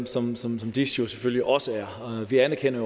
som som dis jo selvfølgelig også er vi anerkender